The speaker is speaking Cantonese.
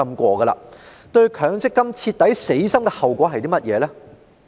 市民對強積金徹底死心的後果是甚麼？